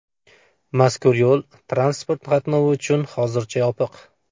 Mazkur yo‘l transport qatnovi uchun hozircha yopiq.